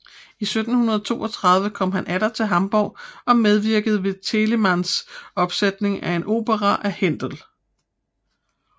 I 1732 kom han atter til Hamborg og medvirkede ved Telemanns opsætning af en opera af Händel